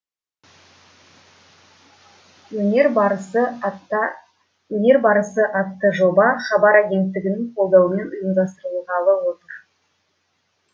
өнер барысы өнер барысы атты жоба хабар агенттігінің қолдауымен ұйымдастырылғалы отыр